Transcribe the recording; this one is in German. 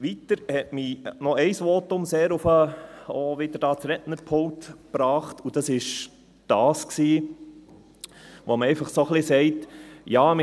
Ein weiteres Votum hat mich auch noch wieder an das Rednerpult gebracht, und zwar jenes gewesen, in dem einfach ein wenig sagt wurde: